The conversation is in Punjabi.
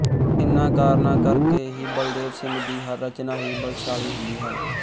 ਇਨ੍ਹਾਂ ਕਾਰਨਾਂ ਕਰ ਕੇ ਹੀ ਬਲਦੇਵ ਸਿੰਘ ਦੀ ਹਰ ਰਚਨਾ ਹੀ ਬਲਸ਼ਾਲੀ ਹੁੰਦੀ ਹੈ